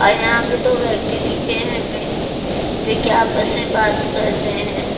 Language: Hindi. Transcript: और यहां पे दो व्यक्ति दिखे हमें जो कि आपस में बात कर रहे हैं।